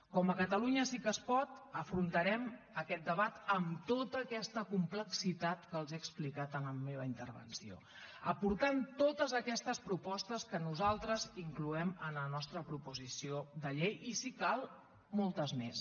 com a catalunya sí que es pot afrontarem aquest debat amb tota aquesta complexitat que els he explicat en la meva intervenció aportant totes aquestes propostes que nosaltres incloem en la nostra proposició de llei i si cal moltes més